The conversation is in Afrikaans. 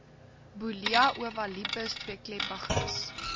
bullia ovalipes tweekleppiges